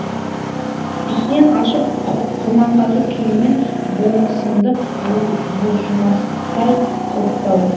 кісен ашып құрманғазы күйімен болмысымды бұлжымастай құлыптау